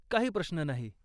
काही प्रश्न नाही.